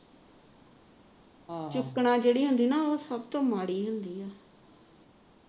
ਜਿਹੜੀ ਹੁੰਦੀ ਨਾ ਉਹ ਸਭ ਤੋ ਮਾੜੀ ਹੁੰਦੀ ਹੈ